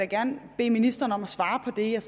gerne bede ministeren om at svare på det jeg